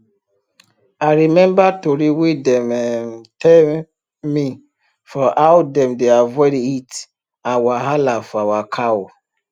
i remember tori wey dem um tell me for how dem dey avoid heat and wahala for our cow